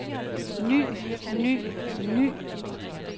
ny ny ny